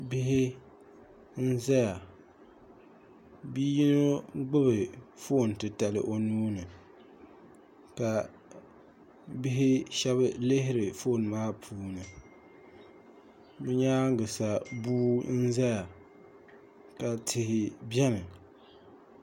bihi n-zaya bi' yino gbubi foon o nuu ni ka bi' shɛba lihiri foon maa puuni bɛ nyaaŋa sa bua zaya ka tihi beni